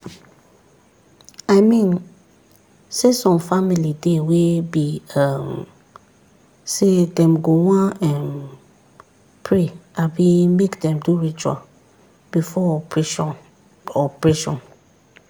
i mean say some family dey wey be um say dem go wan um pray abi make dem do ritual before operation. operation.